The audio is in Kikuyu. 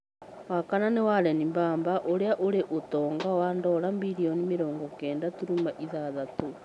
Wa kana nĩ Waren Mbaba ũrĩa ĩrĩ ũtonga wa ndora birioni mĩrongo-kenda turuma ithathatũ.